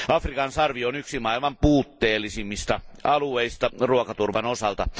Afrikan sarvi on yksi maailman puutteellisimmista alueista ruokaturvan osalta.